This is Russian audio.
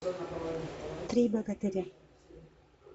три богатыря